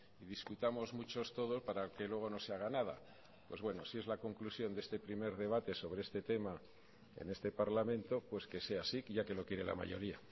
discutamos mucho todo para que luego no se haga nada si es la conclusión de este primer debate sobre este tema en este parlamento pues que sea así ya que lo quiere la mayoría